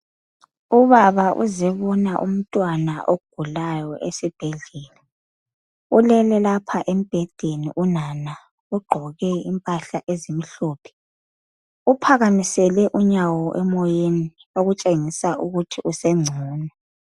Ubaba uzebonanumtwana ogulayo esibhedlela ulele lapha embedeni unana ugqoke impahla ezimhlophe uphakamisele unyawo emoyeni okutshengisa ukuthi usengcono